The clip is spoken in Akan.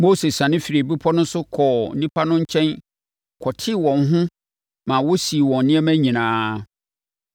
Mose siane firii bepɔ no so kɔɔ nnipa no nkyɛn kɔtee wɔn ho ma wɔsii wɔn nneɛma nyinaa.